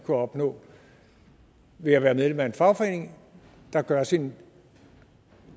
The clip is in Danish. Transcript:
opnå ved at være medlem af en fagforening der gør sit